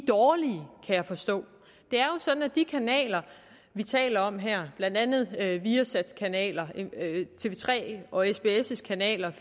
dårlige kan jeg forstå det er jo sådan at de kanaler vi taler om her blandt andet viasats kanaler tv3 og sbs’ kanaler